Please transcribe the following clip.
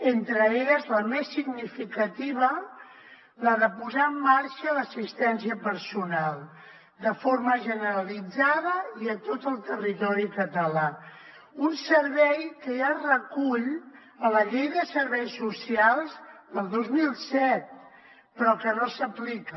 entre elles la més significativa la de posar en marxa l’assistència personal de forma generalitzada i a tot el territori català un servei que ja es recull a la llei de serveis socials del dos mil set però que no s’aplica